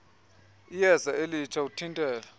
iyeza elitsha uthintela